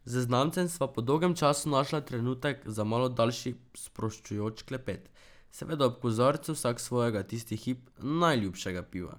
Z znancem sva po dolgem času našla trenutek za malo daljši sproščujoč klepet, seveda ob kozarcu vsak svojega tisti hip najljubšega piva.